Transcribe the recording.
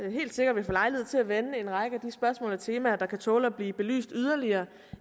vi helt sikkert vil få lejlighed til at vende en række af spørgsmål og temaer der kan tåle at blive belyst yderligere